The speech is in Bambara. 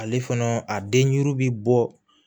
Ale fana a den ɲuru bɛ bɔ